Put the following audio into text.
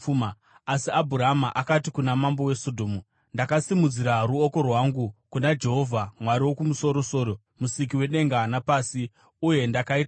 Asi Abhurama akati kuna mambo weSodhomu, “Ndakasimudzira ruoko rwangu kuna Jehovha, Mwari Wokumusoro-soro, Musiki wedenga napasi, uye ndakaita mhiko